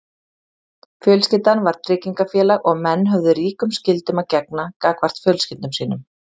Fjölskyldan var tryggingafélag og menn höfðu ríkum skyldum að gegna gagnvart fjölskyldum sínum.